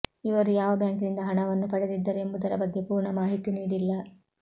ಇವರು ಯಾವ ಬ್ಯಾಂಕಿನಿಂದ ಹಣವನ್ನು ಪಡೆದಿದ್ದರು ಎಂಬುದರ ಬಗ್ಗೆ ಪೂರ್ಣ ಮಾಹಿತಿ ನೀಡಿಲ್ಲ